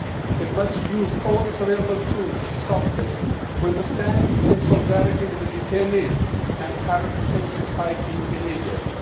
It must use all its available tools to stop this. We must stand in solidarity with the detainees and harassed civil society in Egypt.